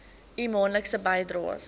u maandelikse bydraes